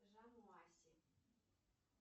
жамоаси